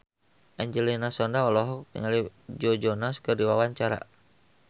Angelina Sondakh olohok ningali Joe Jonas keur diwawancara